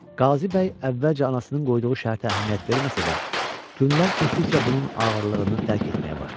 Qazı bəy əvvəlcə anasının qoyduğu şərtə əhəmiyyət verməsə də, günlər keçdikcə bunun ağırlığını dərk etməyə başladı.